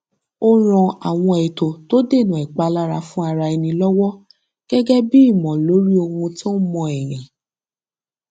ó ran àwọn ètò tó dènà ìpalára fún ara ẹni lọwọ gẹgẹ bí ìmọ lórí ohun tó ń mó èèyàn